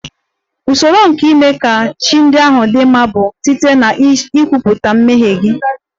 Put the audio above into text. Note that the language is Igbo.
Usoro nke ime ka chi ndị ahụ dị mma ga-amalite site n'ikwupụta mmehie gị